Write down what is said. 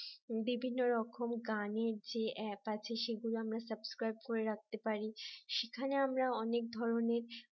বিভিন্ন রকম গানের যে অ্যাপ আছে সেগুলো আমরা subscribe করে রাখতে পারি সেখানে আমরা অনেক ধরনের